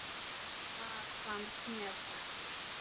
Það finnst mér best.